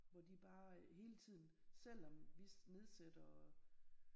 Hvor de bare hele tiden selvom vi nedsætter